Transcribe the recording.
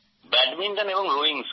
badminton এবং rowing